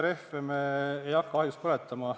Rehve me ei hakka ahjus põletama.